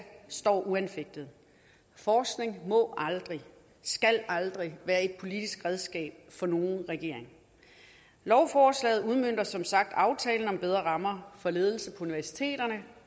står uanfægtet forskning må og skal aldrig være et politisk redskab for nogen regering lovforslaget udmønter som sagt aftalen om bedre rammer for ledelse på universiteterne